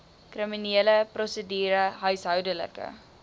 kriminele prosedure huishoudelike